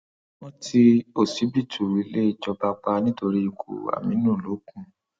wọn ti ọsibítù ilé ìjọba pa nítorí ikú àmínú lógún